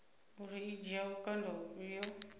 uri i dzhia vhukando vhufhio